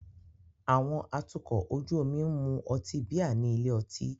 Àwọn atukọ̀ ojú omi ń mu ọtí bíà ní ilé ọtí.